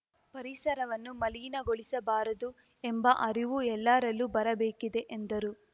ಪರಿಸರವನ್ನು ಮಲಿನಗೊಳಿಸಬಾರದು ಎಂಬ ಅರಿವು ಎಲ್ಲರಲ್ಲೂ ಬರಬೇಕಿದೆ ಎಂದರು